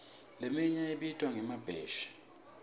leminye ibitwa ngemabheshi